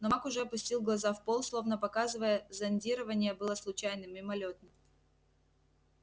но маг уже опустил глаза в пол словно показывая зондирование было случайным мимолётным